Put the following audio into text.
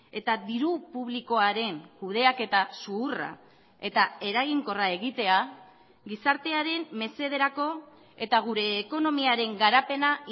eta diru publikoaren kudeaketa zuhurra eta eraginkorra egitea gizartearen mesederako eta gure ekonomiaren garapena